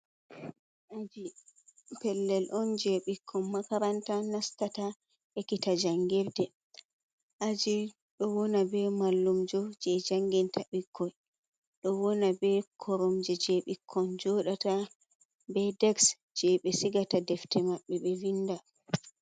Aji pellel on je ɓikkon makaranta nastata ekkita jangirde, aji ɗo wona be mallumjo je janginta ɓikkoi, ɗo wona be koromje je ɓikkon joɗata be deks je ɓe sigata defte maɓɓe be vinda.